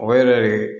O yɛrɛ de